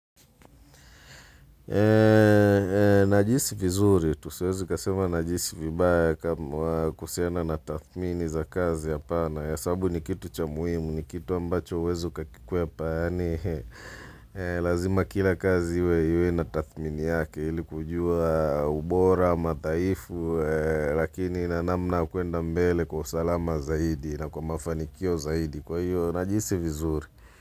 Najihisi vizuri, tu siwezi kasema najihisi vibaya kuhusiana na tathmini za kazi hapana hesabu ni kitu cha muhimu, ni kitu ambacho huwezi ukakikwepa yaani lazima kila kazi iwe na tathmini yake Hili kujua ubora, madhaifu, lakini na namna kuenda mbele kwa salama zaidi na kwa mafanikio zaidi kwa hiyo, najihisi vizuri.